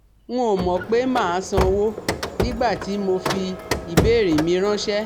N ò mọ̀ pé màá sanwó nígbà tí mo fi ìbéèrè mi ráńṣẹ́